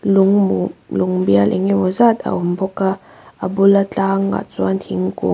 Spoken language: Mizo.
lung mum lung bial enge maw zat a awm bawk a a bula tlangah chuan thingkung --